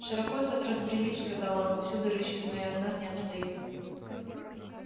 широко за разбрелись сказал он повсюду рыщут но и от нас не отстают